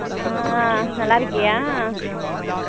அஹ் நல்லா இருக்கயா